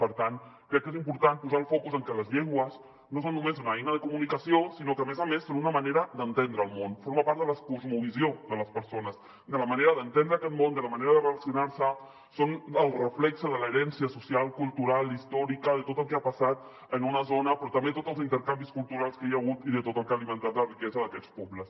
per tant crec que és important posar el focus en que les llengües no són només una eina de comunicació sinó que a més a més són una manera d’entendre el món formen part de la cosmovisió de les persones de la manera d’entendre aquest món de la manera de relacionar se són el reflex de l’herència social cultural i històrica de tot el que ha passat en una zona però també de tots els intercanvis culturals que hi ha hagut i de tot el que ha alimentat la riquesa d’aquests pobles